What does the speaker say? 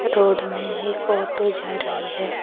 Road में एक auto जा रही है।